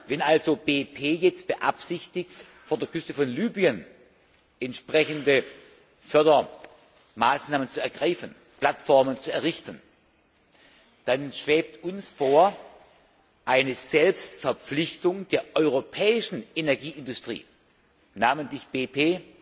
Wenn also BP jetzt beabsichtigt, vor der Küste von Libyen entsprechende Fördermaßnahmen zu ergreifen und Plattformen zu errichten, dann schwebt uns vor, eine Selbstverpflichtung der europäischen Energieindustrie namentlich